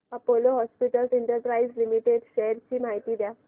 Apollo hospitals enterprises limited shares ची माहिती द्या